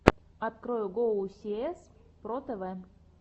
открой гоусиэс про тэвэ